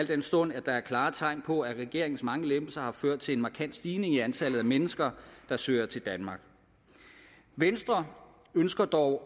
den stund at der er klare tegn på at regeringens mange lempelser har ført til en markant stigning i antallet af mennesker der søger til danmark venstre ønsker dog